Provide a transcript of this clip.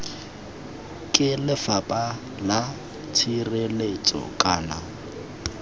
ke lefapha la tshireletso kana